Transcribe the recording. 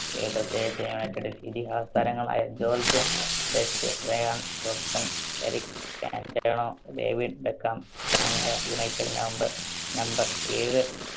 united ഇതിഹാസ താരങ്ങളായ George Best, Bryan Robson, Eric Cantona, David Beckham, തുടങ്ങിയ united number, number ഏഴ്